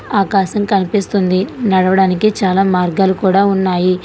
ఆకాశం కనిపిస్తుంది నడవడానికి చాలా మార్గాలు కూడా ఉన్నాయి.